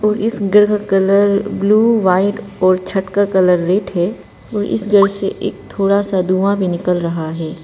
तो इस घर का कलर ब्लू व्हाइट और छत का कलर रेड है और इस घर से एक थोड़ा सा धुआ भी निकल रहा है।